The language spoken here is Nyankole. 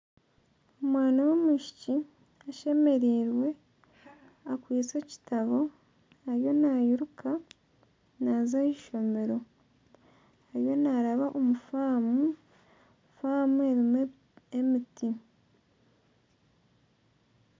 Omwana w'omwishiki ashemerirwe akwiste ekitabo, ariyo nayiruka naza ahishomero. Ariyo naraba omu famu. Famu erimu emiti.